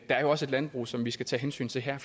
er også et landbrug som vi skal tage hensyn til her